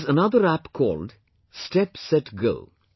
There is another app called, Step Set Go